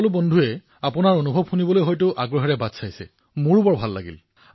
প্ৰধানমন্ত্ৰীঃ আপোনাৰ সহযোগীসকলে আপোনাৰ অভিজ্ঞতা শুনিবলৈ আতুৰ হৈ আছে কিন্তু মোৰ ভাল লাগিল